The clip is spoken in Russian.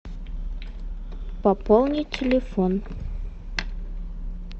пополнить телефон